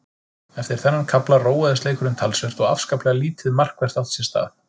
Eftir þennan kafla róaðist leikurinn talsvert og afskaplega lítið markvert átti sér stað.